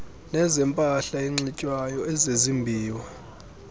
nezempahla enxitywayo ezezimbiwa